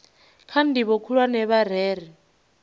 kha ndivho khulwane vha rere